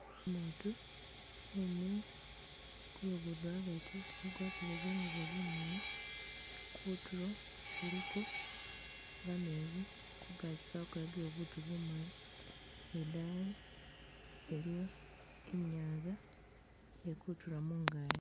Umutu emile kulugudo agati agwatile zingubo zimali kutulo kuliko gamezi kungaji kwakolakile butu bumali ni idaayi iliyo inyanza iye kutula mungaye.